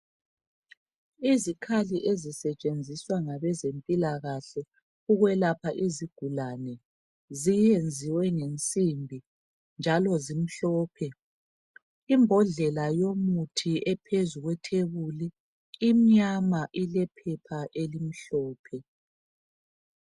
Izikhali ezisetshenziswa ngabezempilakahle ukwelapha izigulane zenziwe ngensimbi njalo zimhlophe. Imbodlela ephezu kwethebuli imnyama ilephepha elimhlophe.